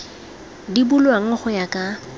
di bulwang go ya ka